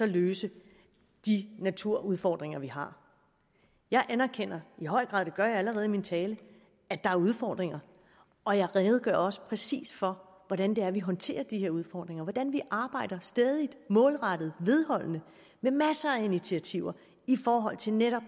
løse de naturudfordringer vi har jeg anerkender i høj grad det gør jeg allerede i min tale at der er udfordringer og jeg redegør også præcist for hvordan vi håndterer de her udfordringer hvordan vi arbejder stædigt målrettet vedholdende med masser af initiativer i forhold til netop